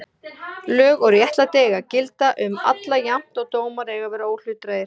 Lög og réttlæti eiga að gilda um alla jafnt og dómar eiga að vera óhlutdrægir.